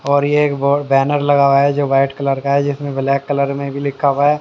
और ये एक ब बैनर लगा हुआ हैजो वाइट कलर का है जिसमें ब्लैक कलर में भी लिखा हुआ है।